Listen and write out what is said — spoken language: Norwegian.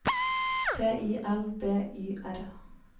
T I L B Y R